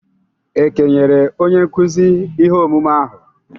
E kenyere onye nkuzi ihe omume ahụ?